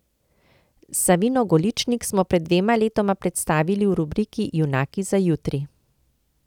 Savino Goličnik smo pred dvema letoma predstavili v rubriki Junaki za jutri.